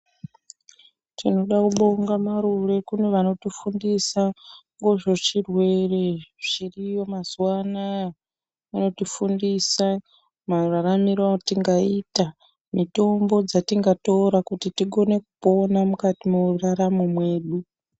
Tinoda kubonga marure kune vanotifundisa ngezvezvirwere zviriyo mazuwa anaya. Anotifundisa mararamiro atingaita, mitombo dzatingatora kuti tigone kupona mukati mweraramo mwedu.